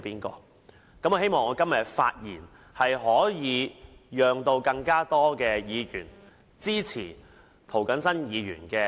我希望今天的發言可令更多議員支持涂謹申議員的修訂。